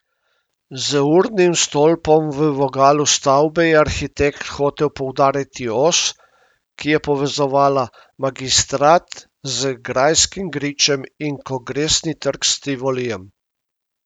Z urnim stolpom v vogalu stavbe je arhitekt hotel poudariti os, ki je povezovala Magistrat z Grajskim gričem in Kongresni trg s Tivolijem.